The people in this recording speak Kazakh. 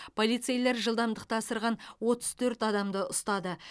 полицейлер жылдамдықты асырған отыз төрт адамды ұстады